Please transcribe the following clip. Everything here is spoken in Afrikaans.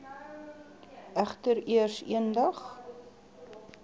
egter eers eendag